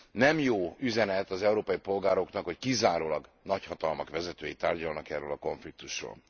Nem jó üzenet az európai polgároknak, hogy kizárólag nagyhatalmak vezetői tárgyalnak erről a konfliktusról.